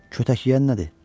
Kötək yeyən nədir?